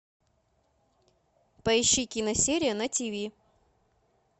поищи киносерия на тв